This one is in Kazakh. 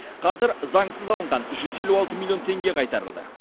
қазір заңсыз алынған жүз алты миллион теңге қайтарылды